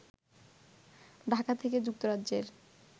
ঢাকা থেকে যুক্তরাজ্যের